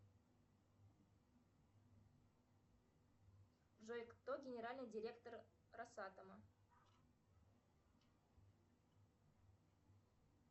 джой кто генеральный директор росатома